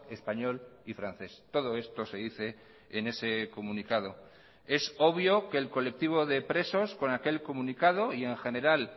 español y francés todo esto se dice en ese comunicado es obvio que el colectivo de presos con aquel comunicado y en general